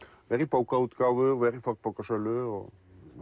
vera í bókaútgáfu og vera í fornbókasölu og